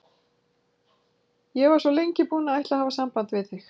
Ég var svo lengi búin að ætla að hafa samband við þig.